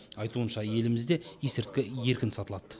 айтуынша елімізде есірткі еркін сатылады